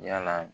Yala